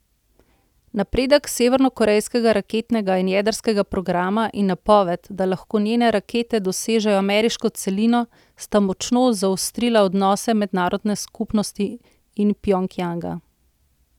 Napredek severnokorejskega raketnega in jedrskega programa in napoved, da lahko njene rakete dosežejo ameriško celino sta močno zaostrila odnose mednarodne skupnosti in Pjongjanga.